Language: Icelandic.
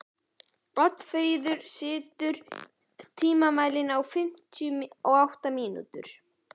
Oddfríður, stilltu tímamælinn á fimmtíu og átta mínútur.